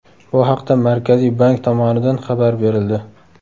Bu haqda Markaziy bank tomonidan xabar berildi .